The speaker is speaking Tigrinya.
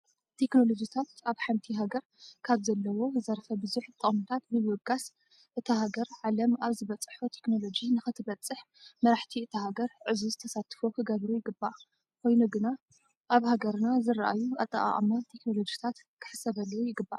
ቴክኖሎጂ ኣብ ሓንቲ ሃገር ካብ ዘለዎ ዘርፈ ብዙሕ ጥቅምታት ብምብጋስ እታ ሃገር ዓለም ኣብ ዝበፅሖ ቴክኖሎጂ ንክትበፅሕ መራሕቲ እታ ሃገር ዕዙዝ ተሳትፎ ክገብሩ ይግባእ። ኾይኑ ግና ኣብ ሀገርና ዝረኣዩ ኣጠቃቅማ ቴክኖሎጅታት ክሕሰበሉ ይግባእ።